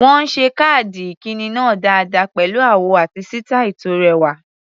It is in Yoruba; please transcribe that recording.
Wọ́n ṣe káàdì ìkíni náà dáadáa pẹ̀lú àwọ̀ àti sítàì tó rẹwà.